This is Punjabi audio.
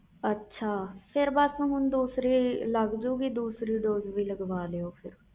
ਅੱਛਾ ਹੁਣ ਲਗ ਜੋ ਗਈ ਦੁਸਰੀ dose ਵੀ ਲਗਵਾ ਲੀਓ